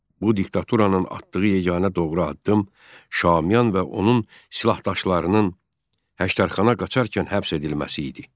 Bu diktaturanın atdığı yeganə doğru addım Şaumyan və onun silahdaşlarının Həştərxana qaçarkən həbs edilməsi idi.